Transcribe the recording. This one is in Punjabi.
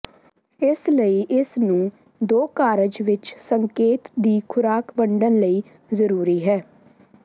ਇਸ ਲਈ ਇਸ ਨੂੰ ਦੋ ਕਾਰਜ ਵਿੱਚ ਸੰਕੇਤ ਦੀ ਖੁਰਾਕ ਵੰਡਣ ਲਈ ਜ਼ਰੂਰੀ ਹੈ